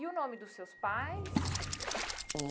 E o nome dos seus pais?